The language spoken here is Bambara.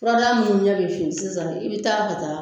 Furadaga minnu ɲɛ bɛ fin sisan i bɛ taa ka taa